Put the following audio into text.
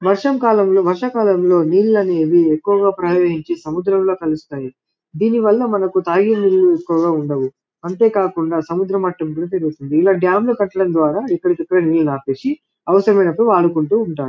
వర్షం కాలంలో వర్షా కాలం లో నెళ్ళుఅనేవి ఎక్కువ గ ప్రవహించి సముద్రంలో కలుస్తాయి దేని వాళ్ళ మంకు తాగే నీళ్లు ఎక్కువగా ఉండవు అంతే కాకుండా సముద్ర మొత్తంలో ఇలా డాం లు కట్టడం ద్వారా ఇక్కడిక్కడేయ్ నీళ్లు ఆపేసి అవసరమైనపుడు వాడుకుంటూ ఉంటారు .